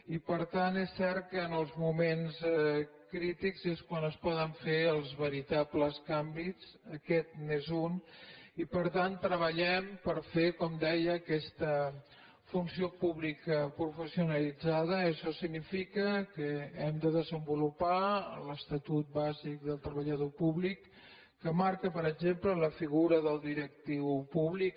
i per tant és cert que en els moments crítics és quan es poden fer els veritables canvis aquest n’és un i per tant treballem per fer com deia aquesta funció pública professionalitzadaaixò significa que hem de desenvolupar l’estatut bàsic del treballador públic que marca per exemple la figura del directiu públic